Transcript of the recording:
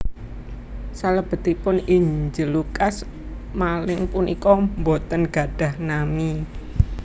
Salebetipun Injil Lukas maling puniku boten gadhah nami